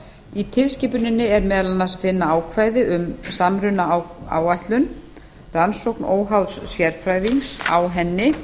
í tilskipuninni er meðal annars að finna ákvæði um samrunaáætlun rannsókn óháðs sérfræðings á henni